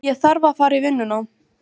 Ég þarf að fara í vinnuna.